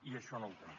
i això no ho tenim